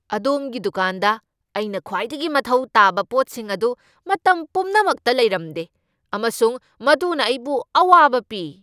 ꯑꯗꯣꯝꯒꯤ ꯗꯨꯀꯥꯟꯗ ꯑꯩꯅ ꯈ꯭ꯋꯥꯏꯗꯒꯤ ꯃꯊꯧ ꯇꯥꯕ ꯄꯣꯠꯁꯤꯡ ꯑꯗꯨ ꯃꯇꯝ ꯄꯨꯝꯅꯃꯛꯇ ꯂꯩꯔꯝꯗꯦ ꯑꯃꯁꯨꯡ ꯃꯗꯨꯅ ꯑꯩꯕꯨ ꯑꯋꯥꯕ ꯄꯤ꯫